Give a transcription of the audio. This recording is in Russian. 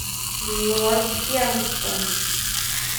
нортгемптон